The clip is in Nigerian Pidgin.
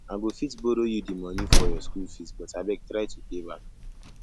i go fit borrow you the money for your school fees but abeg try to pay back